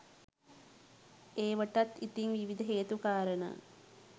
ඒවටත් ඉතින් විවිධ හේතු කාරණා